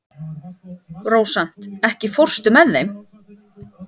Rósant, ekki fórstu með þeim?